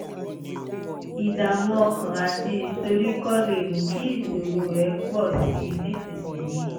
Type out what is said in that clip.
ìdààmú ọkàn àti ìsoríkọ́ lè mú kí ìṣòro rẹ pọ̀ sí i nísinsìnyí